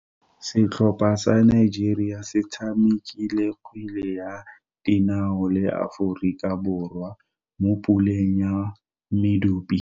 Setlhopha sa Nigeria se tshamekile kgwele ya dinao le Aforika Borwa mo puleng ya medupe.